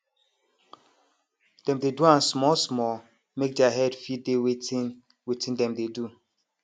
dem dey do am smallsmall make their head fit dey wetin wetin dem dey do